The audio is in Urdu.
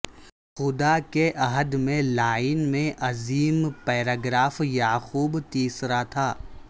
خدا کے عہد میں لائن میں عظیم پیراگراف یعقوب تیسرا تھا